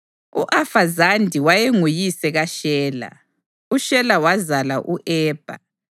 U-Afazadi wayenguyise kaShela, uShela wazala u-Ebha.